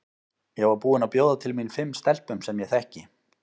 Ég var búin að bjóða til mín fimm stelpum sem ég þekki.